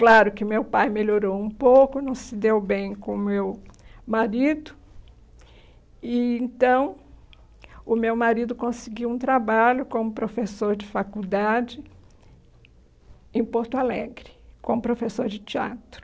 Claro que meu pai melhorou um pouco, não se deu bem com o meu marido, e então o meu marido conseguiu um trabalho como professor de faculdade em Porto Alegre, como professor de teatro.